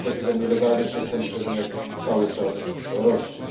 Niestety ten nielegalny przestępczy rynek cały czas rośnie.